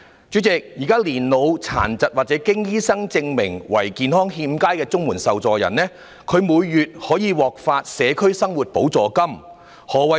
主席，現時年老、殘疾或經醫生證明為健康欠佳的綜援受助人每月可獲發社區生活補助金。